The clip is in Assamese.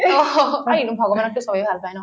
আৰু এনেও ভগৱানকতো চবেই ভাল পাই ন